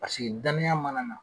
Paseke danaya mana nan